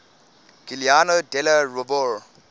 giuliano della rovere